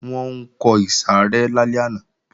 Wọ́n ń kọ ìsàrẹ́ lálẹ́ àná